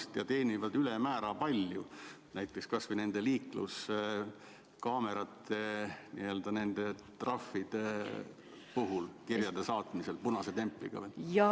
Ehk nad teenivad ülemäära palju, kas või nende liikluskaamerate trahvide puhul, kui saadavad punase templiga kirju?